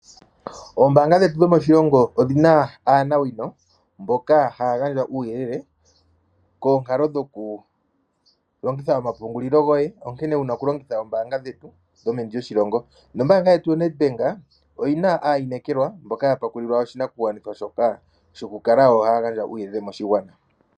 Ombaanga dhetu dhomoshilongo odhina aanawino mboka haya gandja uuyelele koonkalo dhoku longitha omapungulilo goye onkene wuna oku longitha oombaanga dhetu dhomeni lyoshilongo, nombaanga yetu yoNEDBANK oyina aainekelwa mboka ya topolelwa oshinakugwanithwa shoka shoku kala taya gandja uuyelele moshigwana.